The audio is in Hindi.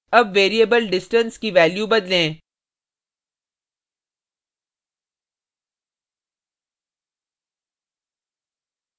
अब variable distance की value बदलें